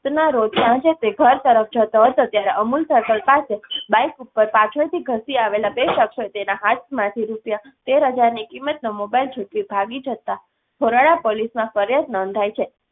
તના રોજ સાંજે તે ઘર તરફ જતો હતો ત્યારે અમૂલ circle પાસે બાઇક ઉપર પાછળથી ધસી આવેલા બે શખ્સોએ તેના હાથ માંથી રૂપિયા તેર હજારની કિમતનો મોબાઈલ જુટવી ભાગી જતાં ઘોરડા પોલીસમાં ફરિયાદ નોંધાઈ છે.